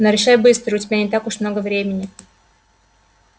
но решай быстро у тебя не так уж много времени